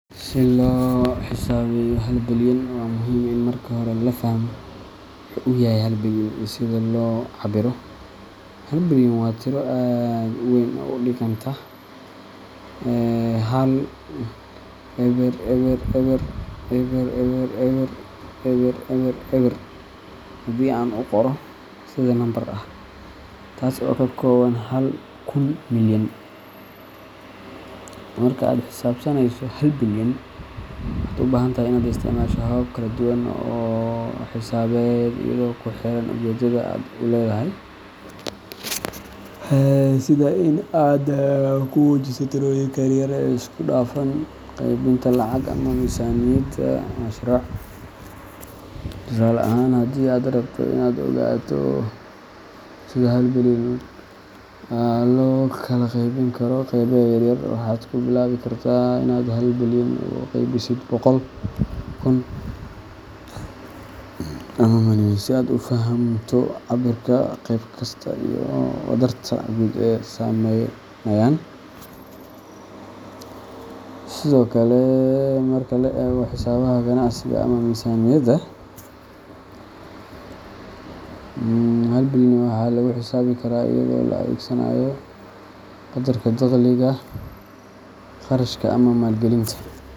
Si loo xisaabiyo hal bilyan, waa muhiim in marka hore la fahmo waxa uu yahay hal bilyan iyo sida loo cabbiro. Hal bilyan waa tiro aad u weyn oo u dhiganta 1,000,000,000, taas oo ka kooban hal kun milyan. Marka aad xisaabinayso hal bilyan, waxaad u baahan tahay inaad isticmaasho habab kala duwan oo xisaabeed iyadoo ku xiran ujeeddada aad leedahay, sida in aad ku muujiso tirooyinka yaryar ee isku dhafan, qaybinta lacag, ama miisaaniyada mashruuc. Tusaale ahaan, haddii aad rabto inaad ogaato sida hal bilyan loo kala qaybin karo qaybo yar yar, waxaad ku bilaabi kartaa inaad hal bilyan u qaybisid boqol, kun, ama milyan si aad u fahamto cabbirka qayb kasta iyo wadarta guud ee ay sameynayaan. Sidoo kale, marka loo eego xisaabaha ganacsiga ama miisaaniyada, hal bilyan waxaa lagu xisaabi karaa iyadoo la adeegsanayo qaddarka dakhliga, kharashka, ama maalgelinta.